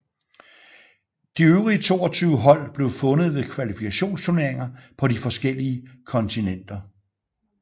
De øvrige 22 hold blev fundet ved kvalifikationsturneringer på de forskellige kontinenter